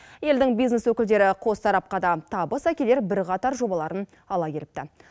елдің бизнес өкілдері қос тарапқа да табыс әкелер бірқатар жобаларын ала келіпті